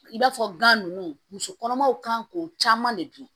I b'a fɔ gan nunnu muso kɔnɔmaw kan k'o caman de dun